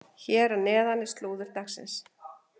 Hér að neðan er slúður dagsins.